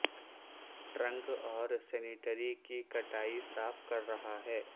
trunk اور sanitary کی کٹائی صاف کر رہا ہے